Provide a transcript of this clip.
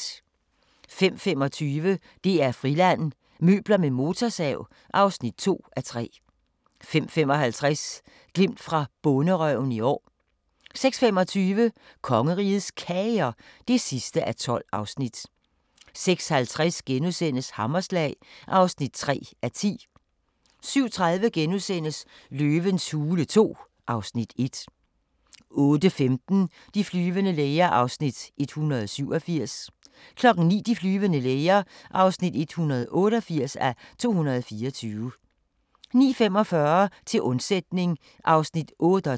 05:25: DR-Friland: Møbler med motorsav (2:3) 05:55: Glimt fra Bonderøven i år 06:25: Kongerigets Kager (12:12) 06:50: Hammerslag (3:10)* 07:30: Løvens hule II (Afs. 1)* 08:15: De flyvende læger (187:224) 09:00: De flyvende læger (188:224) 09:45: Til undsætning (38:48)